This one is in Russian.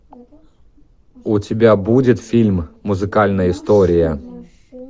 у тебя будет фильм музыкальная история